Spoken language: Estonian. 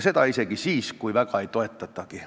Seda isegi siis, kui väga ei toetatagi.